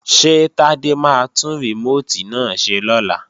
Ṣé Tádé máa tún rìmóòtì náà ṣe lọ́la?